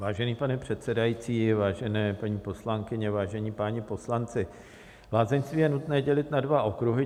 Vážený pane předsedající, vážené paní poslankyně, vážení páni poslanci, lázeňství je nutné dělit na dva okruhy.